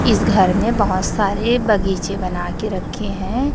इस घर में बहोत सारे बगीचे बना के रखे हैं।